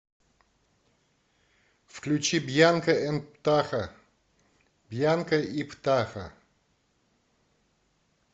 включи бьянка энд птаха бьянка и птаха